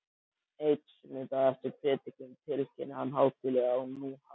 Einn sunnudag eftir prédikun tilkynnir hann hátíðlega að nú hafi